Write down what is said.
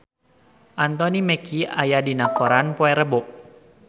Anthony Mackie aya dina koran poe Rebo